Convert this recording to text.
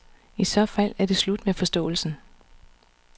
I så fald er det slut med forståelsen.